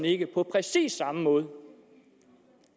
ikke på præcis samme måde